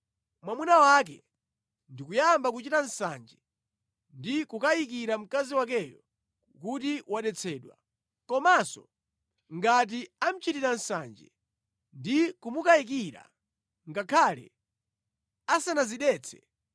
mwamuna wake ndi kuyamba kuchita nsanje ndi kukayikira mkazi wakeyo kuti ndi wodetsedwa, komanso ngati amuchitira nsanje ndi kumukayikira ngakhale asanadzidetse,